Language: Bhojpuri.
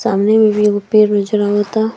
सामने में भी एगो पेड़ नज़र आवता।